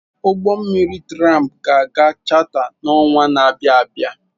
Ụgbọ mmiri tramp ga aga chata n'ọnwa na abịa abịa.